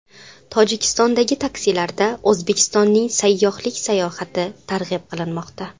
Tojikistondagi taksilarda O‘zbekistonning sayyohlik salohiyati targ‘ib qilinmoqda .